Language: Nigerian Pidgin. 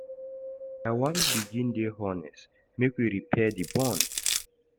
I wan begin dey honest make we repair di bond.